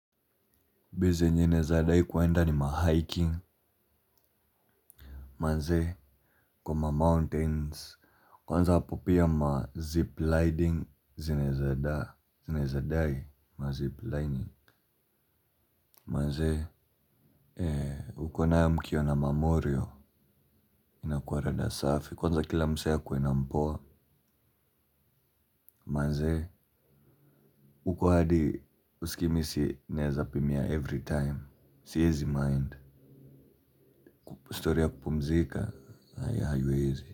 Baze yenye naeza dai kuenda ni ma-hiking. Maze, kwa ma-mountains kwanza hapopia ma-zip-lining zinaezada. Zinaeza dai ma-zip-lining. Maze, huko nayo mkiwa na ma-morio inakuwa rada safi. Kwanza kila msee akuwe na mpoa. Maze, huko hadi usikimi sinaezapimia every time. Siezi mind story ya kupumzika, haiwezi.